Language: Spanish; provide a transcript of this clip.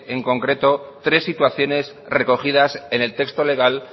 en concreto tres situaciones recogidas en el texto legal